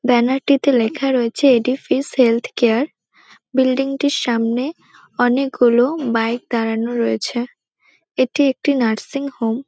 ব্যানারটিতে লেখা রয়েছে এটি ফিশ হেলথ কেয়ার । বিল্ডিংটির সামনে অনেক গুলো বাইক দাঁড়ানো রয়েছে। এটি একটি নার্সিং হোম ।